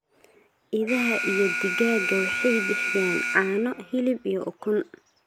idaha, iyo digaagga waxay bixiyaan caano, hilib, iyo ukun.